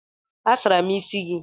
A sara m isi gị.